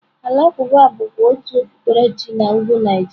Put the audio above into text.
Alakwuba bụkwa otu okpukpere chi na Ugwu Naijiria.